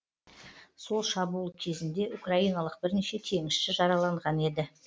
сол шабуыл кезінде украиналық бірнеше теңізші жараланған еді